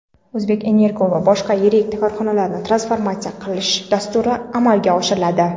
"O‘zbekenergo" va boshqa yirik korxonalarni transformatsiya qilish dasturi amalga oshiriladi.